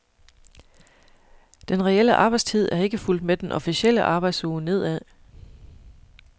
Den reelle arbejdstid er ikke fulgt med den officielle arbejdsuge nedad.